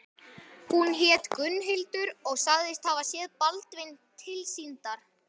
Hún hét Gunnhildur og sagðist hafa séð Baldvin tilsýndar.